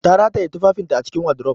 Ta rataye tufafinta a cikin wardrobe